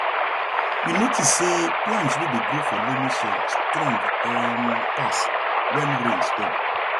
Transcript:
we notice say plants wey dey grow for loamy soil strong um pass when rain stop